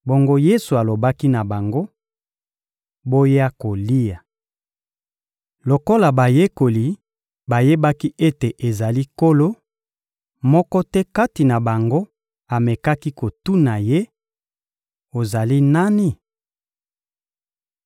Bongo Yesu alobaki na bango: — Boya kolia. Lokola bayekoli bayebaki ete ezali Nkolo, moko te kati na bango amekaki kotuna Ye: «Ozali nani?»